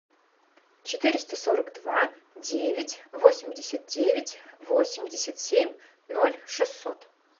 четыреста сорок два девять восемьдесят девять восемьдесят семь ноль шестьсот